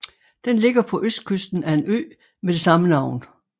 Den ligger på østkysten af en ø med det samme navn